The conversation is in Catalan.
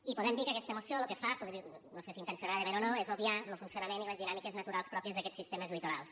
i podem dir que aquesta moció lo que fa no sé si intencionadament o no és obviar lo funcionament i les dinàmiques naturals pròpies d’aquests sistemes litorals